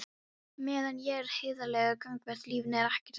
Meðan ég er heiðarlegur gagnvart lífinu er ekkert að óttast.